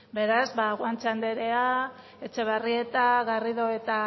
beraz ba guanche andrea etxebarrieta garrido eta